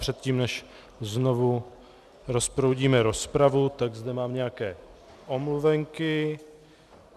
Předtím, než znovu rozproudíme rozpravu, tak zde mám nějaké omluvenky.